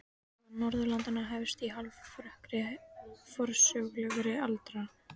Saga Norðurlanda hefst í hálfrökkri forsögulegrar aldar.